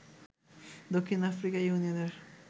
দক্ষিণ আফ্রিকা ইউনিয়নের